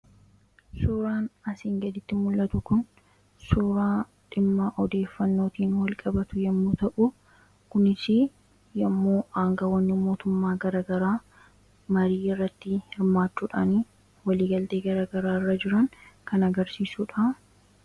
suraan asiin gaditti mul'atu kun suuraa dhimmaa odeeffannootiin wal qabatu yommuu ta'u kunis yommuu aangawonni mootummaa garagaraa marii irratti hirmaachuudhaanii waliigaltee garagaraa irra jiran kan agarsiisuu dha.